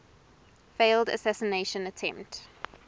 failed assassination attempt